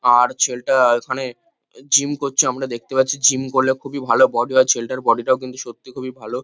আর ছেলেটা এখানে-এ জিম করছে আমরা দেখতে পাচ্ছি। জিম করলে খুবই ভালো বডি হয়। ছেলেটার বডি -টাও কিন্তু সত্যি খুবই ভালো।